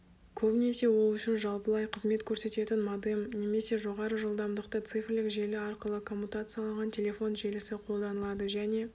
көбінесе ол үшін жалпылай қызмет көрсететін модем немесе жоғары жылдамдықты цифрлік желі арқылы коммутацияланған телефон желісі қолданылады және